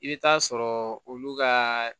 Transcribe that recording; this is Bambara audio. I bɛ taa sɔrɔ olu ka